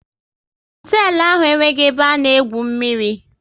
Hoteelu ahụ enweghị ebe a na-egwu mmiri